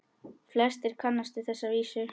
Flestir kannast við þessa vísu